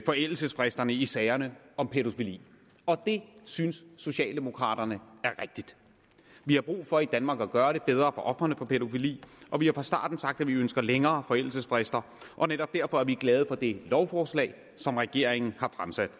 forældelsesfristerne i sager om pædofili og det synes socialdemokraterne er rigtigt vi har brug for i danmark at gøre det bedre for ofrene for pædofili og vi har fra starten sagt at vi ønsker længere forældelsesfrister og netop derfor er vi glade for det lovforslag som regeringen har fremsat